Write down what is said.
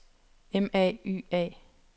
M A Y A